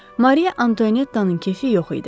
Mariya Antoenettanın kefi yox idi.